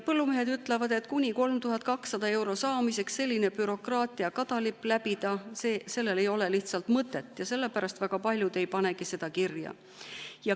Põllumehed ütlevad, et sellise bürokraatliku kadalipu läbimisel kuni 3200 euro saamiseks ei ole lihtsalt mõtet, ja sellepärast väga paljud ei panegi seda kirja.